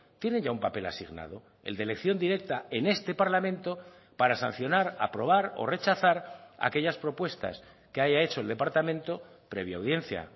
tienen ya un papel asignado el de elección directa en este parlamento para sancionar aprobar o rechazar aquellas propuestas que haya hecho el departamento previa audiencia